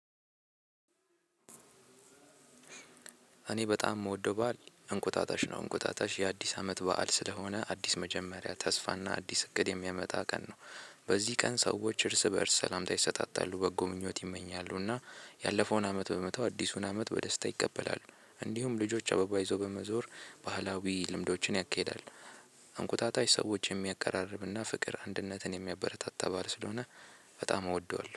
እኔ በጣም የምወደው በዓል እንቁጣጣሽ ነው። እንቁጣጣሽ የአዲስ አመት በዓል ስለሆነ አዲስ መጀመሪያ ተስፋና አዲስ እቅድ የሚያመጣ ቀን ነው። በዚህ ቀን ሰዎች እርስ በእርስ ሰላምታ ይሰጣጣሉ። በጎ ምኞት ይመኛሉና ያለፈውን አመት በመተው አዲሱን አመት በደስታ ይቀበላሉ። እንዲሁም ልጆች አበባ ይዞ በመዞር ባህላዊ ልምዶችን ያኬዳሉ። እንቁጣጣሽ ሰዎችን የሚያቀራርብና ፍቅር አንድነትን የሚያበረታታ በዓል ስለሆነ በጣም እወደዋለሁ።